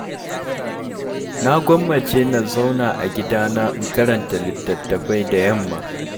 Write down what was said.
Na gwammace na zauna a gidana in karanta littatafai da yamma.